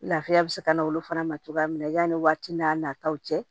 Lafiya bɛ se ka na olu fana ma cogoya min na yani waati n'a nataw cɛ